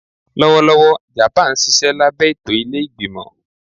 Lọwọlọwọ Japan nṣiṣẹ labẹ eto ile-igbimọ